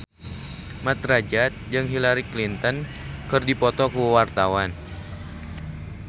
Mat Drajat jeung Hillary Clinton keur dipoto ku wartawan